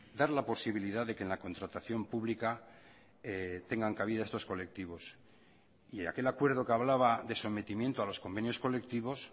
dar la posibilidad de que en la contratación pública tengan cabida estos colectivos y aquel acuerdo que hablaba de sometimiento a los convenios colectivos